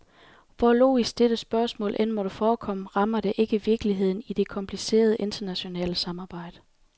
Hvor logisk dette spørgsmål end måtte forekomme, rammer det ikke virkeligheden i det komplicerede, internationale samarbejde.